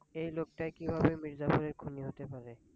এই লোকটাই কিভাবে মিরজাফরের খুনি হতে পারে?